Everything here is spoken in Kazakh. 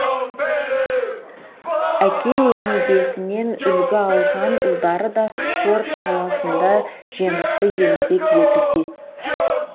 әке өнегесінен үлгі алған ұлдары да спорт саласында жемісті еңбек етуде